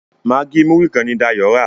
Maggi Muri kán ní Dayo rà.